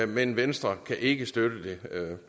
men venstre kan ikke støtte det